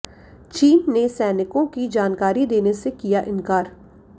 चीन ने सैनिकों की जानकारी देने से किया इनकार